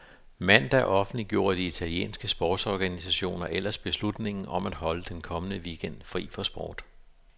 Mandag offentliggjorde de italienske sportsorganisationer ellers beslutningen om at holde den kommende weekend fri for sport.